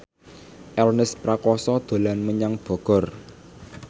Ernest Prakasa dolan menyang Bogor